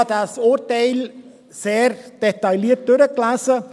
Ich habe dieses Urteil sehr detailliert durchgelesen.